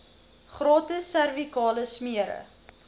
gratis servikale smere